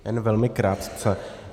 Jen velmi krátce.